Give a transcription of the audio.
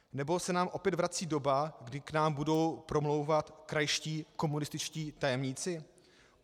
Nebo se nám opět vrací doba, kdy k nám budou promlouvat krajští komunističtí tajemníci?